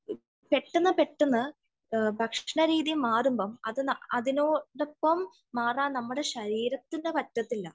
പെട്ടെന്ന് പെട്ടെന്ന് ഭക്ഷണ രീതി മാറുമ്പോൾ അതിനോടൊപ്പം മാറാൻ നമ്മളെ ശരീരത്തിന് പറ്റില്ല